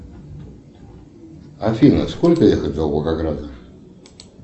афина сколько ехать до волгограда